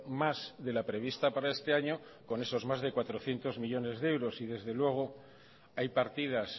más de la prevista para este año con esos más de cuatrocientos millónes de euros y desde luego hay partidas